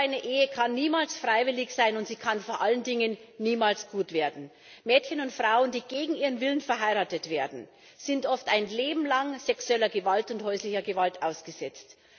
So eine Ehe kann niemals freiwillig sein, und sie kann vor allen Dingen niemals gut werden. Mädchen und Frauen, die gegen ihren Willen verheiratet werden, sind oft ein Leben lang sexueller und häuslicher Gewalt ausgesetzt.